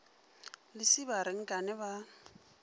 lesiba a re nkane ba